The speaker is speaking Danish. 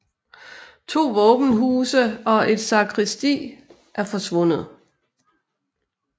To våbenhuse og et sakristi er forsvundet